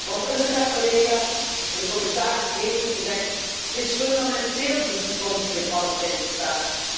Want UNRWA, collega's, en de commissaris heeft het gezegd, is fundamenteel voor de toekomstige Palestijnse staat.